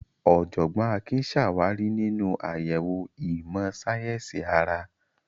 Ọ̀jọ̀gbọ́n Akin ṣàwárí nínú àyẹ̀wò ìmọ̀ sáyẹ́sì ara.